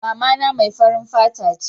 mamana mai farin fata ce